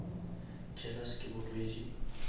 jealous ke bolwetši